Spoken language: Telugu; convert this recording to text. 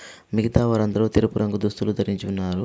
మిగతా వారందరూ తెలుపు రంగు దుస్తులు ధరించి ఉన్నారు.